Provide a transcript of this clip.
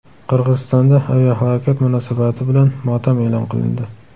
Qirg‘izistonda aviahalokat munosabati bilan motam e’lon qilindi.